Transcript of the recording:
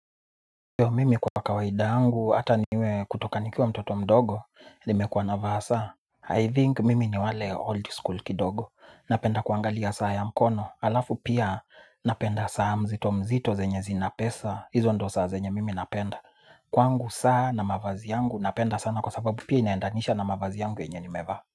Mimi kwa kawaida yangu, ata niwe kutoka nikiwa mtoto mdogo, nimekuwa na vaa saa. I think mimi ni wale old school kidogo. Napenda kuangalia saa ya mkono, alafu pia napenda saa mzito mzito zenye zina pesa, hizo ndio saa zenye mimi napenda. Kwangu saa na mavazi yangu, napenda sana kwa sababu pia inaendanisha na mavazi yangu yenye nimevaa.